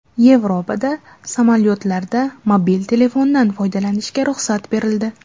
Yevropada samolyotlarda mobil telefondan foydalanishga ruxsat berildi.